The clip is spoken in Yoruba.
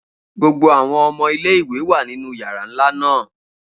Gbogbo awọn ọmọ ile-iwe wa ninu yara nla naa